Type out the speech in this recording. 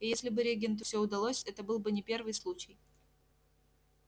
и если бы регенту все удалось это был бы не первый случай